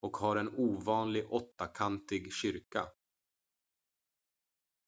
och har en ovanlig åttakantig kyrka